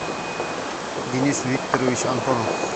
денис викторович антонов